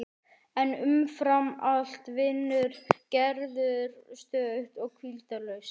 En umfram allt vinnur Gerður stöðugt og hvíldarlaust.